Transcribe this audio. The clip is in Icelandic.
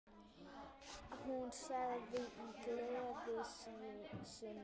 Hún sagði í gleði sinni